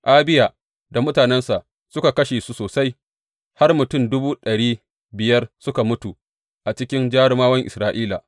Abiya da mutanensa suka kashe su sosai, har mutum dubu ɗari biyar suka mutu a cikin jarumawan Isra’ila.